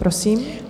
Prosím.